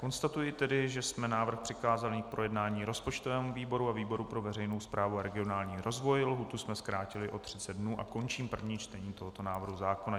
Konstatuji tedy, že jsme návrh přikázali k projednání rozpočtovému výboru a výboru pro veřejnou správu a regionální rozvoj, lhůtu jsme zkrátili o 30 dnů, a končím první čtení tohoto návrhu zákona.